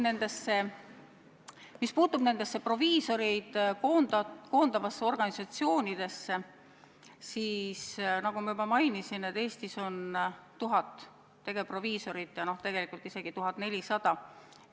Mis puutub proviisoreid koondavasse organisatsiooni, siis, nagu ma mainisin, Eestis on 1000 tegevproviisorit ja tegelikult isegi 1400 proviisorit.